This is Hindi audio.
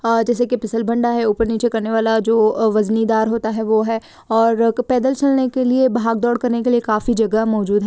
हां जैसे कि फिसल भिंडा है ऊपर नीचे करने वाला है जो वजनी दार होता है वो है और पैदल चलने के लिए भाग-दोड़ करने के लिए काफी जगह मौजूद है।